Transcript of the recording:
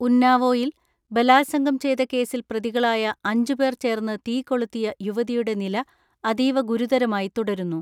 ഉന്നാവോയിൽ ബലാത്സംഗം ചെയ്ത കേസിൽ പ്രതികളായ അഞ്ചുപേർ ചേർന്ന് തീ കൊളുത്തിയ യുവതിയുടെ നില അതീവ ഗുരുതരമായി തുടരുന്നു.